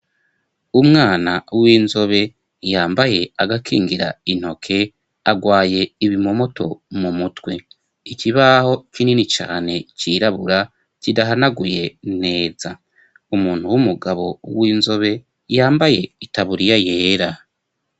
Umwana w'inzobe yambaye agakingira intoke agwaye ibimomoto mu mutwe ikibaho kinini cane cirabura kidahanaguye neza umuntu w'umugabo w'inzobe yambaye itaburiya yera.